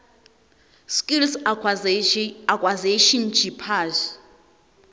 skills acquisition jipsa